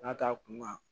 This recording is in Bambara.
N'a t'a kunna